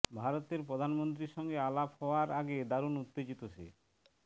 ভারতের প্রধানমন্ত্রীর সঙ্গে আলাপ হওয়ার আগে দারুণ উত্তেজিত সে